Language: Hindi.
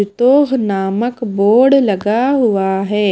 तो नामक बोर्ड लगा हुआ है।